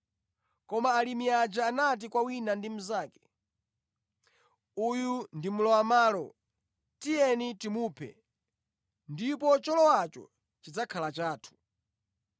“Koma alimi aja anati kwa wina ndi mnzake, ‘Uyu ndi mlowamʼmalo. Tiyeni timuphe, ndipo cholowacho chidzakhala chathu.’